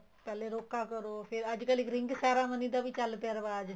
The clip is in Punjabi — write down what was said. ਪਹਿਲੇ ਰੋਕਾ ਕਰੋ ਫ਼ੇਰ ਅੱਜ ਕੱਲ ring ceremony ਦਾ ਚੱਲ ਪਇਆ ਰਿਵਾਜ